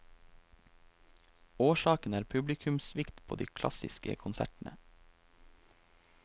Årsaken er publikumssvikt på de klassiske konsertene.